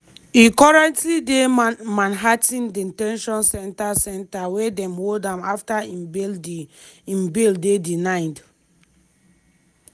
e currently dey manhattan de ten tion centre centre wia dem hold am afta im bail dey denied.